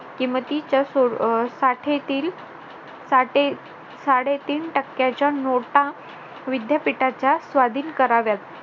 किमतीच्या साठेतील साडेतीन टक्क्याच्या नोटा विद्यापीठाच्या स्वाधीन कराव्यात